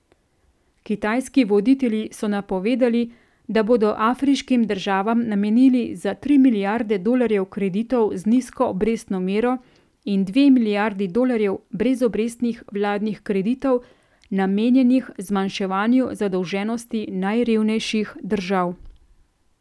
Kitajski voditelji so napovedali, da bodo afriškim državam namenili za tri milijarde dolarjev kreditov z nizko obrestno mero in dve milijardi dolarjev brezobrestnih vladnih kreditov, namenjenih zmanjševanju zadolženosti najrevnejših držav.